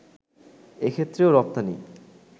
এক্ষেত্রেও রপ্তানি